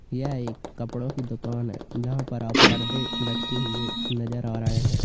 यह एक कपड़ों की दुकान है जहां पर आप पर्दे लटके हुए नजर आ रहे हैं।